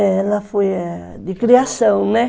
Ela foi eh de criação, né?